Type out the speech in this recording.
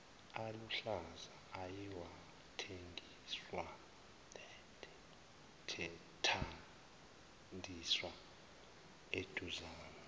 aluhlaza ayewathandiswa eduzane